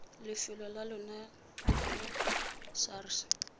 lefelo la lona ya sars